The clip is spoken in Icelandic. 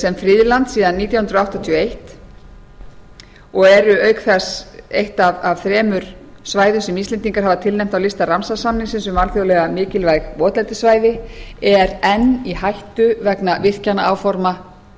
sem friðland síðan nítján hundruð áttatíu og eins og eru auk þess eitt af þremur svæðum sem íslendingar hafa tilnefnt á lista ramsar samningsins um alþjóðlega mikilvæg votlendissvæði er enn í hættu vegna virkjanaáforma